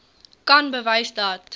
kan bewys dat